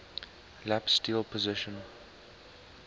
lap steel position